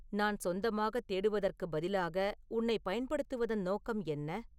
நான் சொந்தமாகத் தேடுவதற்குப் பதிலாக உன்னைப் பயன்படுத்துவதன் நோக்கம் என்ன